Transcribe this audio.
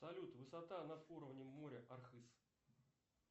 салют высота над уровнем моря архыз